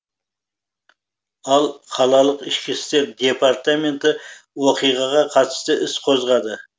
ал қалалық ішкі істер департаменті оқиғаға қатысты іс қозғады